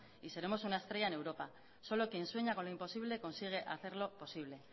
y seremos una estrella en europa solo quien sueña con lo imposible consigue hacerlo posible